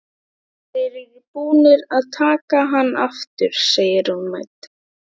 Þeir eru búnir að taka hann aftur, segir hún mædd.